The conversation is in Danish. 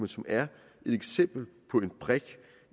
som er et eksempel på en brik